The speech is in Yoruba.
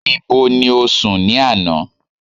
Ibo ti o sùn ní àná?